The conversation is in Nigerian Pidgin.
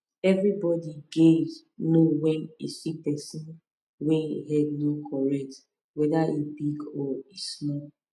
everybody gays know when e see person wey e head no correct weda e big o or e small